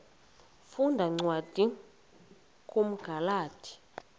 funda cwadi kumagalati